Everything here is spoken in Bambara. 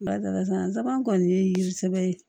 Barisa n sabanan kɔni ye yiri sɛbɛ ye